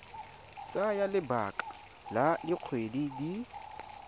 tsaya lebaka la dikgwedi di